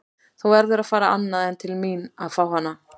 Þú verður að fara annað en til mín að fá hana.